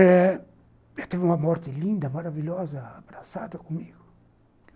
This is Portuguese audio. Eh... teve uma morte linda, maravilhosa, abraçada comigo.